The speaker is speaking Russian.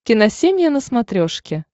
киносемья на смотрешке